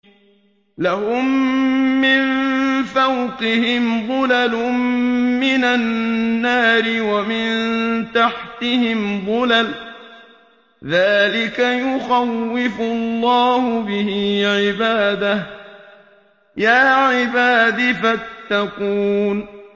لَهُم مِّن فَوْقِهِمْ ظُلَلٌ مِّنَ النَّارِ وَمِن تَحْتِهِمْ ظُلَلٌ ۚ ذَٰلِكَ يُخَوِّفُ اللَّهُ بِهِ عِبَادَهُ ۚ يَا عِبَادِ فَاتَّقُونِ